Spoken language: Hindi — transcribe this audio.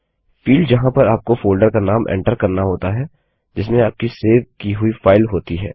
फील्ड जहाँ पर आपको फोल्डर का नाम एन्टर करना होता है जिसमें आपकी सेव की हुई फाइल होती है